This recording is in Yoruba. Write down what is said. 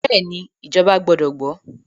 Bẹ́ẹ̀ni, ìjọba gbọdọ̀ gbọ́.